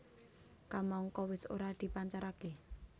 Kamangka wis ora dipancaraké